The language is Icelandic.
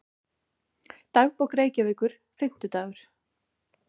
Dagbók Reykjavíkur, Fimmtidagur